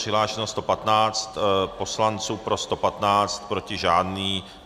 Přihlášeno 115 poslanců, pro 115, proti žádný.